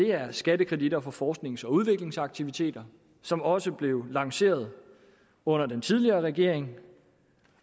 er skattekreditter på forsknings og udviklingsaktiviteter som også blev lanceret under den tidligere regering